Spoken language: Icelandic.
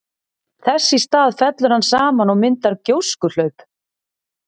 Þess í stað fellur hann saman og myndar gjóskuhlaup.